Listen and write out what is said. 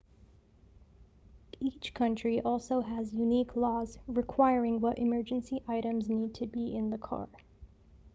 each country also has unique laws requiring what emergency items need to be in the car